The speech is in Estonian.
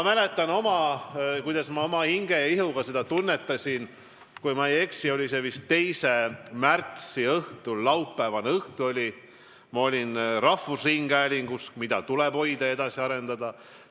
Kui ma ei eksi, see oli vist 2. märtsi õhtul, laupäevaõhtu oli, kui ma olin rahvusringhäälingus, mida tuleb hoida ja edasi arendada.